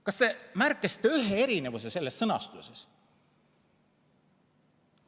" Kas te märkasite ühegi erinevuse selles sõnastuses?